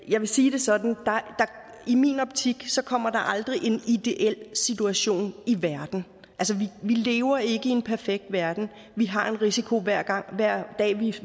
jeg vil sige det sådan der i min optik aldrig kommer en ideel situation i verden vi lever ikke i en perfekt verden vi har en risiko hver dag vi